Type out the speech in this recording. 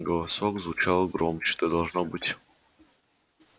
голосок звучал громче ты должно быть